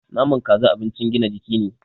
Naman Kaza abincin gina jiki ne